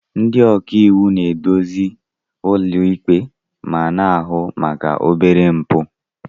Ndị ọka iwu na-eduzi ụlọikpe na-ahụ maka obere mpụ.